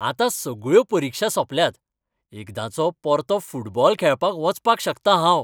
आतां सगळ्यो परिक्षा सोंपल्यात, एकदांचो परतो फुटबॉल खेळपाक वचपाक शकता हांव.